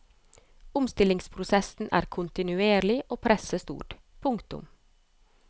Omstillingsprosessen er kontinuerlig og presset stort. punktum